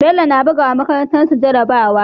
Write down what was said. Bello yAna buga wa makarantar su jara bawa